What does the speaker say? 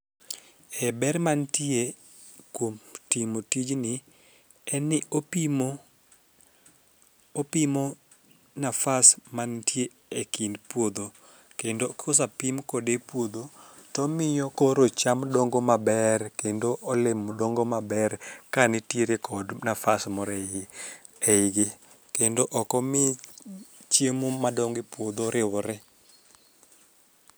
E ber mantie kuom timo tijni en ni opimo nafas mantie e kind puodho kendo kosapim kode puodho tomiyo koro cham dongo maber kendo olemo dongo maber kanitiere kod nafas moro e igi, kendo okomi chiemo madongo e puodho riwre.